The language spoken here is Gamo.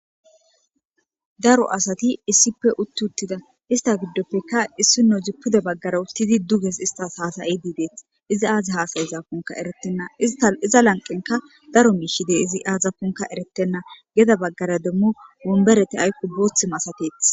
daro asati issippe utti uttidda istta gidofekka issinozi pude baggara uttidi duges istas haasa'idi dees izi aazi haas'izakonkka eretena isttas iza lanqen daro miishshi de'ees aazakonkka eretenna geda baggara demmo wumbereti aykko booththi masatetees